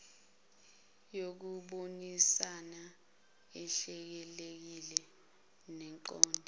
yokubonisana ehlelekile neqonde